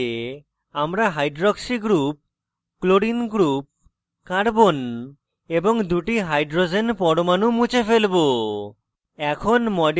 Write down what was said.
এটি করতে আমরা hydroxy oh group chlorine cl group carbon c এবং দুটি hydrogen h পরমাণু মুছে ফেলবো